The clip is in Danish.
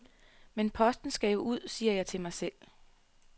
Men posten skal jo ud siger jeg til mig selv.